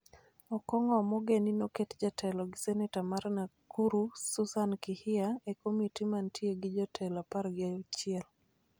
Okong'o Omogeni noket jatelo gi seneta mar Nakuru Susan Kihika e komiti mantie gi jotelo apar gi achiel.